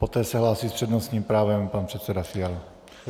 Poté se hlásí s přednostním právem pan předseda Fiala.